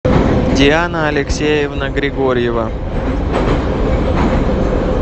диана алексеевна григорьева